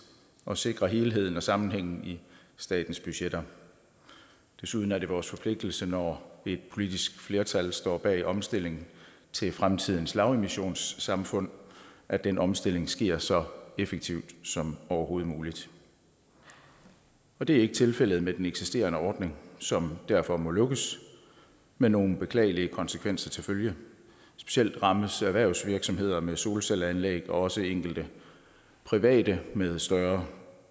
og sikre helheden og sammenhængen i statens budgetter desuden er det vores forpligtelse når et politisk flertal står bag omstilling til fremtidens lavemissionssamfund at den omstilling sker så effektivt som overhovedet muligt og det er ikke tilfældet med den eksisterende ordning som derfor må lukkes med nogle beklagelige konsekvenser til følge specielt rammes erhvervsvirksomheder med solcelleanlæg og også enkelte private med større